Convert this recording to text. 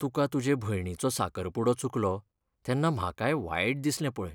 तुका तुजे भयणीचो साकरपुडो चुकलो तेन्ना म्हाकाय वायट दिसलें पळय.